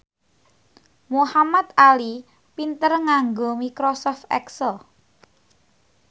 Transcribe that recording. Muhamad Ali pinter nganggo microsoft excel